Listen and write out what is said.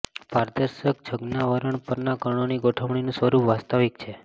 પારદર્શક છદ્માવરણ પરના કણોની ગોઠવણીનું સ્વરૂપ વાસ્તવિક છે